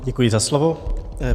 Děkuji za slovo.